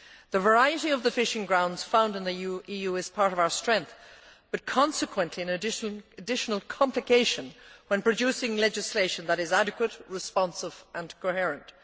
The variety of the fishing grounds found in the EU is part of our strength, but consequently an additional complication when producing legislation that is adequate, responsive and coherent.